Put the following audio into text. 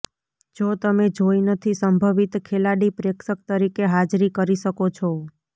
જો તમે જોઈ નથી સંભવિત ખેલાડી પ્રેક્ષક તરીકે હાજરી કરી શકો છો